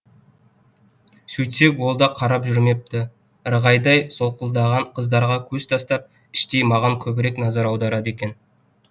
сөйтсек ол да қарап жүрмепті ырғайдай солқылдаған қыздарға көз тастап іштей маған көбірек назар аударады екен